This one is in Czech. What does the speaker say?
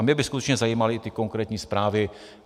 A mě by skutečně zajímaly ty konkrétní zprávy.